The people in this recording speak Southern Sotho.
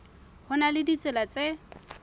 ho na le ditsela tse